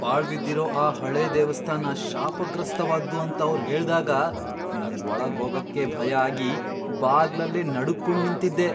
ಪಾಳ್ಬಿದ್ದಿರೋ ಆ ಹಳೇ ದೇವಸ್ಥಾನ ಶಾಪಗ್ರಸ್ತವಾದ್ದು ಅಂತ ಅವ್ರ್ ಹೇಳ್ದಾಗ ನಂಗ್ ಒಳಗ್ ಹೋಗಕ್ಕೇ ಭಯ ಆಗಿ ಬಾಗ್ಲಲ್ಲೇ ನಡುಗ್ಕೊಂಡ್ ನಿಂತಿದ್ದೆ.